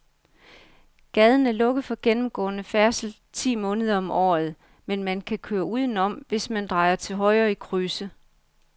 Gaden er lukket for gennemgående færdsel ti måneder om året, men man kan køre udenom, hvis man drejer til højre i krydset.